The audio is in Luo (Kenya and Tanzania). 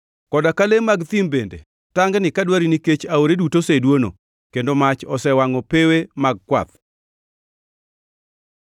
Koda ka le mag thim bende tangni ka dwari nikech aore duto oseduono, kendo mach osewangʼo pewe mag kwath.